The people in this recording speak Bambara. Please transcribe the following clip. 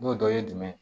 N'o dɔ ye jumɛn ye